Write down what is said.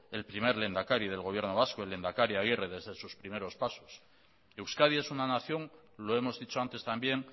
el primer lehendakari del gobierno vasco el lehendakari agirre desde sus primeros pasos euskadi es una nación lo hemos dicho antes también